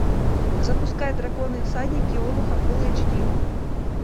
запускай драконы и всадники олуха фулл эйч ди